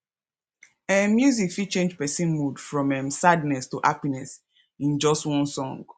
um music fit change person mood from um sadness to happiness in just one song